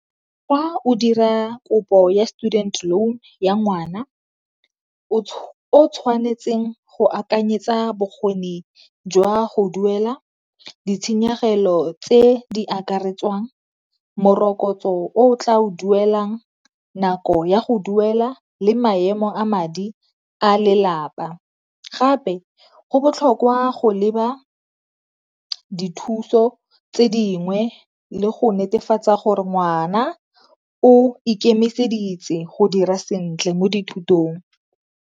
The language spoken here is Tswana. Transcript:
Fa o dira kopo ya student loan ya ngwana o tshwanetseng go akanyetsa bokgoni jwa go duela, ditshenyegelo tse di akaretswang, morokotso o o tla o duelang, nako ya go duela le maemo a madi a lelapa. Gape go botlhokwa go leba dithuso tse dingwe le go netefatsa gore ngwana o ikemiseditse go dira sentle mo dithutong.